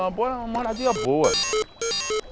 Uma boa moradia boa.